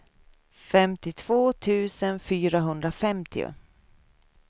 femtiotvå tusen fyrahundrafemtio